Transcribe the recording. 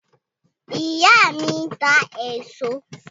Ìyá mí ń ta èso